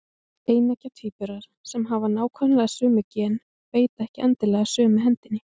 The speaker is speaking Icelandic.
Eineggja tvíburar sem hafa nákvæmlega sömu gen beita ekki endilega sömu hendinni.